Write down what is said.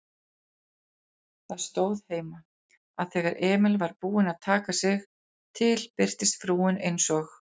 Það stóð heima, að þegar Emil var búinn að taka til birtist frúin eins og